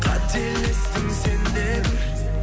қателестің сен де бір